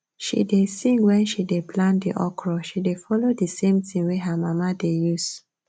she dey sing wen she dey plant the okra she dey follow the same tin wey her mama dey use